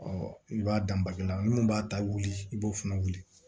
i b'a dan bakɛ la minnu b'a ta wuli i b'o fana wuli